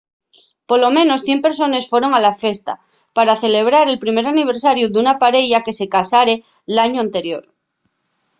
polo menos 100 persones foron a la fiesta pa celebrar el primer aniversariu d’una pareya que se casare l’añu anterior